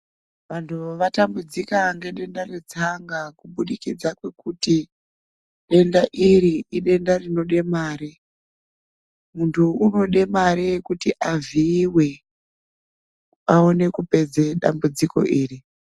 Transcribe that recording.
Vanthu vatambudzika ngedenda retsanga kubudikidza kwekuti denda iri idenda rinode mare munthu unode mare yekuti avhiiwe aone kupedza dambudziko iri.